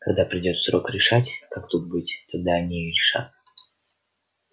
когда придёт срок решать как тут быть тогда они и решат